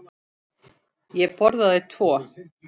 Ég borðaði tvo.